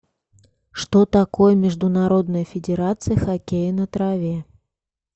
что такое международная федерация хоккея на траве